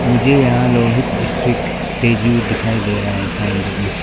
मुझे यहां लोहित डिस्ट्रिक तेजू दिखाई दे रहा है साइन बोर्ड में।